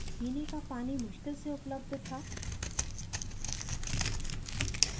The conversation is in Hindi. पीने का पानी मुश्किल से उपलब्ध था